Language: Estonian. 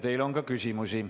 Teile on ka küsimusi.